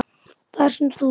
Þar sem þú